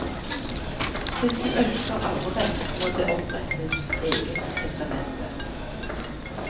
Hvis du ønsker arverett, må det opprettes eget testamente.